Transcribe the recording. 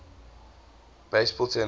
professional baseball teams